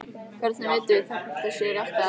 Hvernig vitum við þá hvort það sé rétt eða rangt?